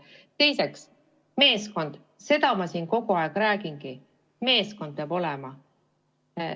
Teiseks, meeskond – seda ma siin kogu aeg räägingi, et meeskond peab olema.